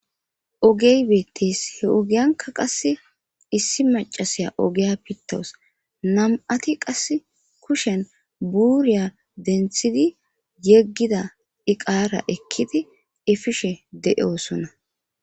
Ogey beettes he ogiyanka qasse issi macasiya ogiya pittowus nam'ati qasse kushen buurya denthidi yeggida iqaara ekkidi ifishe de'oosonna.